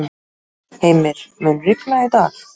Heimir, mun rigna í dag?